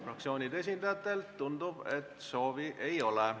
Fraktsioonide esindajatel, tundub, seda soovi ei ole.